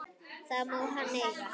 Það má hann eiga.